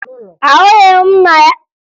Ahụghị m nna gị n'ụlọ ndị lara ezumike ọrụ